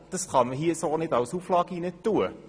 Aber das kann man nicht als Auflage hineinschreiben.